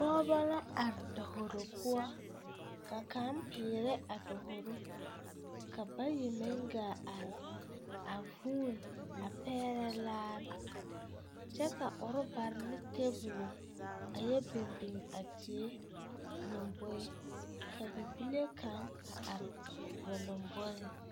Pɔɔbɔ la are davoro poɔ ka kaŋ peerɛ a davoro ka bayi meŋ ɡaa are a huune a pɛɛrɛ laare kyɛ ka urebare ne teebulo a yɛ biŋbiŋ a die lomboe ka bibile kaŋ are ba lomboriŋ.